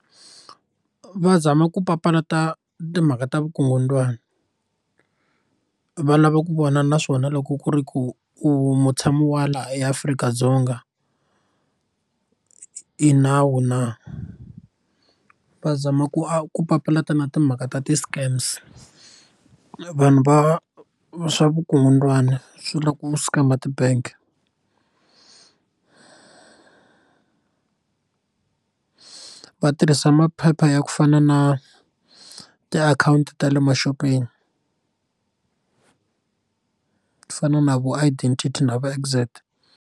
Va zama ku papalata timhaka ta vukungundzwana va lava ku vona na swona loko ku ri ku u mutshami wa la eAfrika-Dzonga i nawu va zama ku papalata na timhaka ta ti scams vanhu va va swa vukungundzwani swi ku scam ti bank va tirhisa maphepha ya ku fana na tiakhawunti ta le maxopeni ku fana na vo Identify ti na vo Exact.